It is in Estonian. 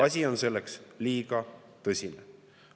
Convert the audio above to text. Asi on selleks liiga tõsine.